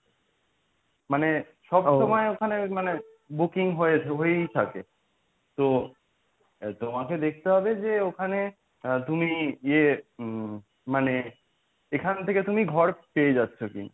মানে সব সময় ওখানে মানে booking হয়েছে হয়েই থাকে তো তোমাকে দেখতে হবে যে ওখানে আ তুমি ইয়ে মানে এখান থেকে তুমি ঘর পেয়ে যাচ্ছো কি না?